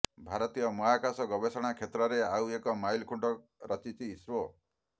ଭାରତୀୟ ମହାକାଶ ଗବେଷଣା କ୍ଷେତ୍ରରେ ଆଉ ଏକ ମାଇଲଖୁଣ୍ଟ ରଚିଛି ଇସ୍ରୋ